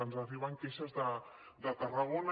ens arriben queixes de tarragona